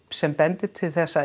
sem bendi til þess að